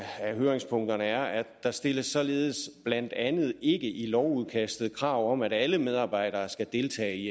høringspunkterne er at der stilles således blandt andet ikke i lovudkastet krav om at alle medarbejdere skal deltage i